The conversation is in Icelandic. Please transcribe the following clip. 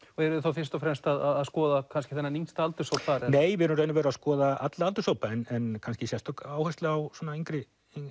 eruð þið þá fyrst og fremst að skoða kannski þennan yngsta aldurshóp bara nei við erum að skoða alla aldurshópa en kannski sérstök áhersla á yngri